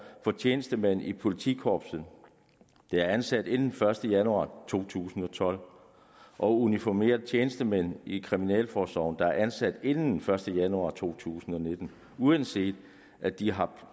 for tjenestemænd i politikorpset der er ansat inden den første januar to tusind og tolv og uniformerede tjenestemænd i kriminalforsorgen der er ansat inden den første januar to tusind og nitten uanset at de har